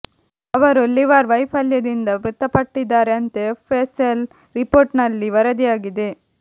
ಅವರು ಲಿವರ್ ವೈಫಲ್ಯದಿಂದ ಮೃತಪಟ್ಟಿದ್ದಾರೆ ಅಂತ ಎಫ್ ಎಸ್ ಎಲ್ ರಿಪೋರ್ಟ್ ನಲ್ಲಿ ವರದಿಯಾಗಿದೆ